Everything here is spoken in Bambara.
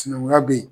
Sinankunya bɛ yen